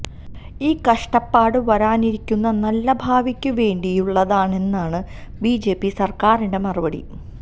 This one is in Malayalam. ഈ കഷ്ടപ്പാട് വരാനിരിക്കുന്ന നല്ല ഭാവിക്ക് വേണ്ടിയുള്ളതാണെന്നാണ് ബിജെപി സർക്കാരിന്റെ മറുപടി